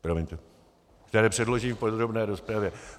Promiňte... které předložím v podrobné rozpravě.